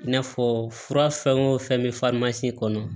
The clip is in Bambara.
I n'a fɔ fura fɛn o fɛn bɛ kɔnɔ